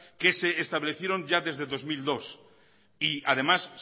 que se establecieron ya desde el dos mil dos y además